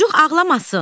Çocuq ağlamasın.